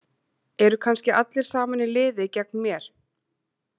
Eru kannski allir saman í liði gegn mér?